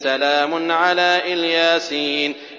سَلَامٌ عَلَىٰ إِلْ يَاسِينَ